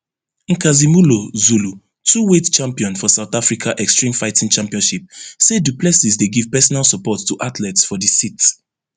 nkazimulo zulu twoweight champion for south africa extreme fighting championship say du plessis dey give personal support to athletes for di cit